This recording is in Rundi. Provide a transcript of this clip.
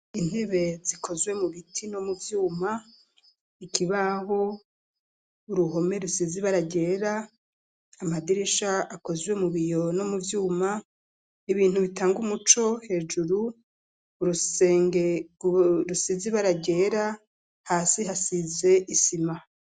Intebe zikozwe mu biti no mu vyuma, ikibaho, uruhome rusizibara ryera, Amadirisha akozwe mu biyo no mu vyuma, ibintu bitanga umuco hejuru bisizibara ryera ,hasi hasize Isima.